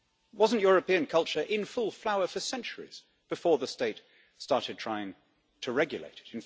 Wasn't European culture in full flower for centuries before the state started trying to regulate it?